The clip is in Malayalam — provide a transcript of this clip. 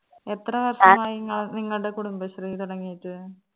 എത്ര നിങ്ങൾടെ കുടുംബശ്രീ തൊടങ്ങിയിട്ട്